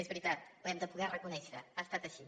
és veritat ho hem de poder reconèixer ha estat així